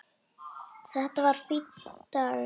Þetta var fínn dagur.